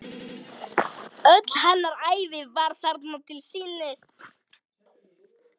Öll hennar ævi var þarna til sýnis.